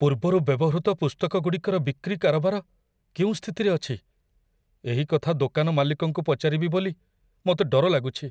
ପୂର୍ବରୁ ବ୍ୟବହୃତ ପୁସ୍ତକଗୁଡ଼ିକର ବିକ୍ରି କାରବାର କେଉଁ ସ୍ଥିତିରେ ଅଛି, ଏହି କଥା ଦୋକାନ ମାଲିକଙ୍କୁ ପଚାରିବି ବୋଲି ମୋତେ ଡର ଲାଗୁଛି।